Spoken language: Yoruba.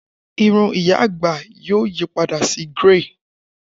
Irun iya agba yoo yipada si grẹy